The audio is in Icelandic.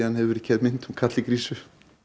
hefur verið gerð mynd um karl í krísu